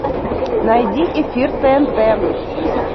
найди эфир тнт